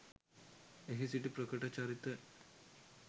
එහි සිටි ප්‍රකට චරිත